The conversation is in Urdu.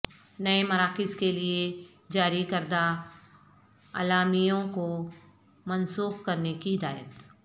نئے مراکز کیلئے جاری کردہ اعلامیوں کو منسوخ کرنے کی ہدایت